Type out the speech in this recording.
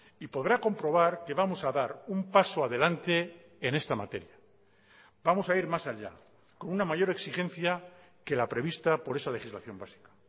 y podrá comprobar que vamos a dar un paso adelante en esta materia vamos a ir más allá con una mayor exigencia que la prevista por esa legislación básica